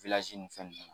nin fɛn nunnu